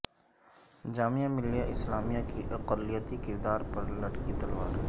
جامعہ ملیہ اسلامیہ کے اقلیتی کردار پر لٹکی تلوار